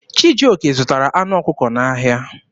Chijioke zụtara anụ ọkụkọ n'ahịa.